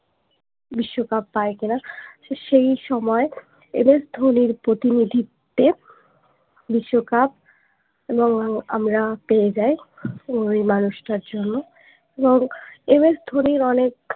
বিশ্বকাপ পায়ে তারা সেই সময়ে MS ধোনির প্রতিনিধিত্বে বিশ্বকাপ এবং আমরা পেয়ে যাই ওই মানুষটার জন্য এবং MS ধোনির অনেক